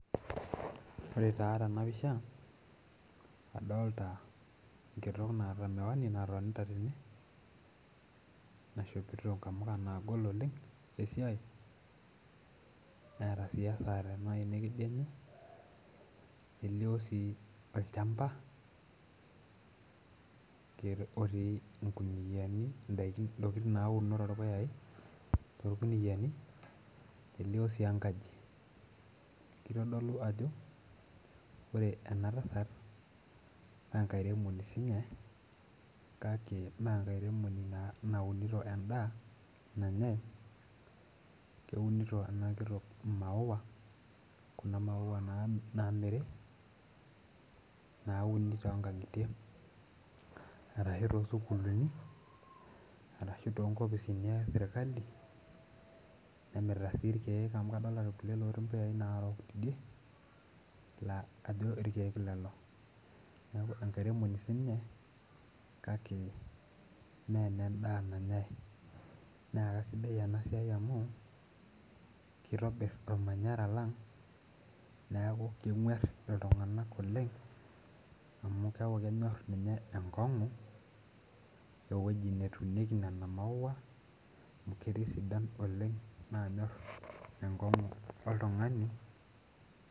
Ore taa tena pisha adolta enkitok naata miwani natonita tene naishopito nkamuka naagol oleng esiai neeta sii esaa tena aina ekedianye nelio sii olchamba otii inkuniani indaikin intokitin nauno torpuyai torkuniyiani nelio sii enkaji kitodolu ajo ore ena tasat naa enkairemoni siinye kake mee enkairemoni naa naunito endaa nanyae keunito ena kitok imaua kuna maua nami namiri nauni tonkang'itie arashu tosukuluni arashu tonkopisini esirkali nemirita sii irkeek amu kadolita irkuliek lotii impuyai narook tidie laa ajo irkeek lelo nieku enkairemoni sininye kake mee enendaa nanyae naa kasidai ena siai amu kitobirr olmanyara lang niaku keng'uerr iltung'anak oleng amu keeku kenyorr ninye enkong'u ewoji netunieki nena maua amu ketii isidan oleng nanyorr enkong'u oltung'ani.